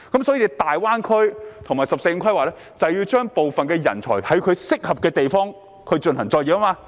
所以，大灣區和"十四五"規劃就是要安排部分人才在其適合的地方發展。